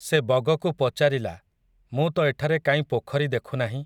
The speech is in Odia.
ସେ ବଗକୁ ପଚାରିଲା, ମୁଁ ତ ଏଠାରେ କାଇଁ ପୋଖରୀ ଦେଖୁ ନାହିଁ ।